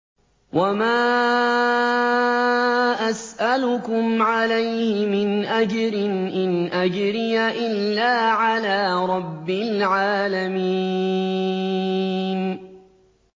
وَمَا أَسْأَلُكُمْ عَلَيْهِ مِنْ أَجْرٍ ۖ إِنْ أَجْرِيَ إِلَّا عَلَىٰ رَبِّ الْعَالَمِينَ